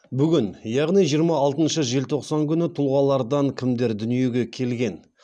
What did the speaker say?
бүгін яғни жиырма алтыншы желтоқсан күні тұлғалардан кімдер дүниеге келген